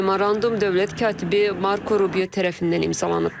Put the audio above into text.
Memorandum dövlət katibi Marko Rubio tərəfindən imzalanıb.